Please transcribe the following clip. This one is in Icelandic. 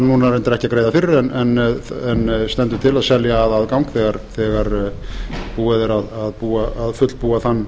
núna reyndar ekki að greiða fyrir en stendur til að selja að aðgang þegar búið er að fullbúa